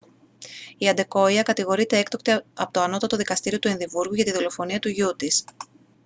η αντεκόϊα κατηγορείται έκτοτε από το ανώτατο δικαστήριο του εδιμβούργου για τη δολοφονία του γιου της